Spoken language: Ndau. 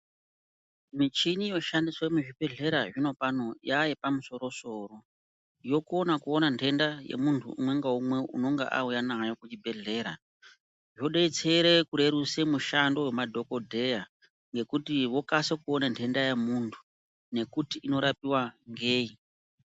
Michini yoshandiswe muzvibhedhlera zvinopano yayepamusoro soro yokona koona ndenda yomuntu umwe ngaumwe unonga auya nayo kuchibhedhlera zvodetsere kurerutsa mushando wemadhokodheya ngekuti vokasire kuona nhenda yomuntu ngekuti inorapiwa ngei .